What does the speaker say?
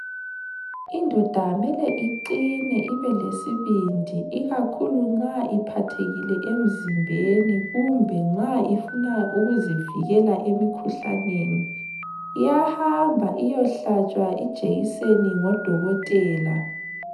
Indoda kumele iqine ibelesibindi ikakhulu nxa iphathekile emzimbeni kumbe nxa ifuna ukuzivikela emkhuhlaneni, iyahamba iyehlatshwa ijekiseni ngo dokotela.